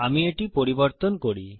আমি এটি পরিবর্তন করি